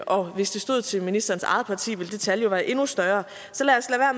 og hvis det stod til ministerens eget parti ville det tal jo være endnu større så lad os